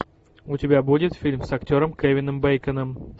у тебя будет фильм с актером кевином бейконом